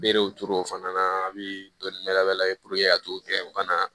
Berew turu o fana na a bi dɔnni wɛrɛ ye ka t'o kɛ u kana